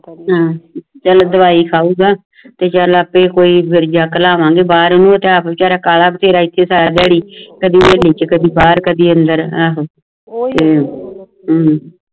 ਚਾਲ ਦਵਾਈ ਖਾਉਗਾ ਤੇ ਚੱਲ ਆਪੇ ਕੋਈ ਵਿਰਜਾ ਕਲਾਉਂਗੇ ਬਾਹਰ ਏਨੂੰ ਏ ਤਾ ਆਪ ਬੇਚਾਰਾ ਕਾਲਾ ਬਥੇਰਾ ਇਥੇ ਸਾਰਾ ਦਿਹਾੜੀ ਕਦੇ ਬਾਹਰ ਕਦੇ ਅੰਦਰ